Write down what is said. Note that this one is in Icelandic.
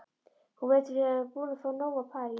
Hún virðist vera búin að fá nóg af París.